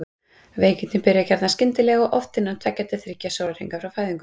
Veikindin byrja gjarnan skyndilega og oft innan tveggja til þriggja sólarhringa frá fæðingu.